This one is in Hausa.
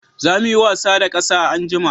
Za mu yi wasa da ƙasa anjima